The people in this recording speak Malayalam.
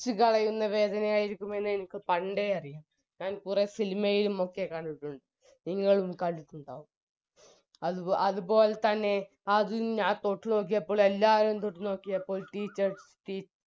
ച്ച് കളയുന്ന വേദനയായിരിക്കും എന്നെനിക്ക് പണ്ടേ അറിയാം ഞാൻ കുറെ സിനിമയിലും ഒക്കെ കണ്ടിട്ടുണ്ട് നിങ്ങളും കണ്ടിട്ടുണ്ടാവും അത് അതുപോലെതന്നെ അത് തൊട്ടുനോക്കിയപ്പോൾ എല്ലാവരും തൊട്ടുനോക്കിയപ്പോൾ teachers